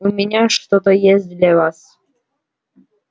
у меня что-то есть для вас